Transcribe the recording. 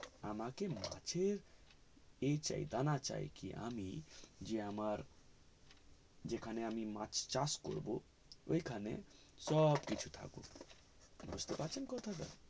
আমাকে মাছের দানা চাই কে আমি যে যেখানে আমি মাছ চাষ করবো ঐখানে সব মাছ কিছু থাকুক বুজতে পারছেন কথা টা